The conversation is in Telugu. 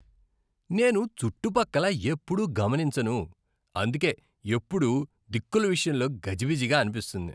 నేను చుట్టుపక్కల ఎప్పుడూ గమనించను, అందుకే ఎప్పుడూ దిక్కుల విషయంలో గజిబిజిగా అనిపిస్తుంది.